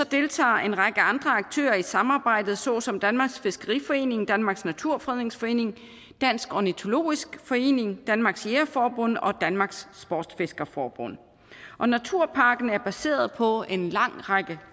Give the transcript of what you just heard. deltager en række andre aktører i samarbejdet såsom danmarks fiskeriforening danmarks naturfredningsforening dansk ornitologisk forening danmarks jægerforbund og danmarks sportsfiskerforbund og naturparken er baseret på en lang række